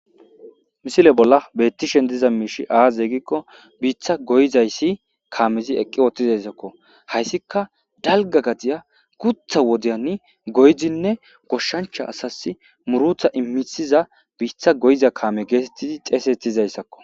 Misile bolla bettishen diza miishi aaze gikko biitha goyizayssi kaamezi eqqi ooththizassakko hayssika dalga gadiya kutha wodiyani goyzinne goshshancha asas murutha immithiza biitha goyiza kaame geetettidi xeesettizayssakko